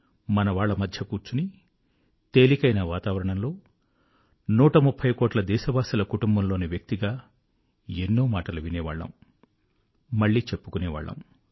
మనవాళ్ళ మధ్య కూర్చొని తేలికైన వాతావరణంలో 130 కోట్ల దేశవాసుల కుటుంబంలోని వ్యక్తిగా ఎన్నో మాటలు వినేవాళ్ళము మళ్ళీ చెప్పుకునేవాళ్ళము